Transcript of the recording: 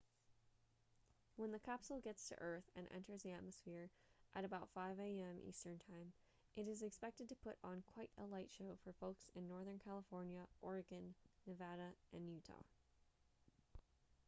when the capsule gets to earth and enters the atmosphere at about 5am eastern time it is expected to put on quite a light show for folks in northern california oregon nevada and utah